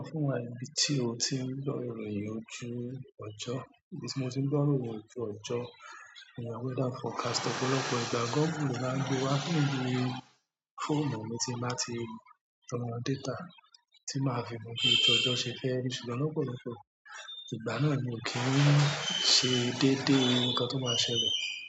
Sọ fún wa ní bí tí o tí ń gbọ́ ìròyìn ojú ọjọ́, ibi tí mo ti ń gbọ́ ìròyìn ojú ọjọ́, ìwé weather forecast ọ̀pọ̀lọpọ̀ ìgbà Google lo máa ń gbé wá fún mi ní fóòmù mi tí n bá ti tan data tí máa fi mọ̀ bí ojú ójọ́ ṣe fẹ́ rí, ṣùgbọ́n lọ̀pọ̀lọpọ̀ ìgbà náà mi ò kí n ṣe dédé nǹkan tó máa ṣẹlẹ̀.